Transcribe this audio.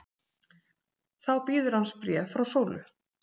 Þá bíður hans bréf frá Sólu.